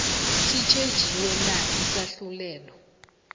sitjhejiwe na isahlulelo